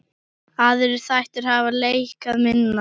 Aðrir þættir hafa lækkað minna.